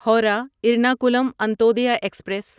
Howrah Ernakulam Antyodaya express